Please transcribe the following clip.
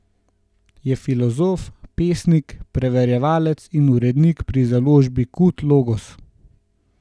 Je filozof, pesnik, prevajalec in urednik pri založbi Kud Logos.